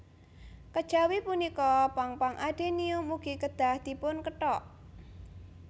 Kejawi punika pang pang adenium ugi kedah dipunkethok